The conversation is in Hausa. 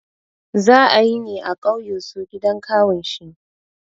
Za ayine a ƙauyusu gidan kawun shi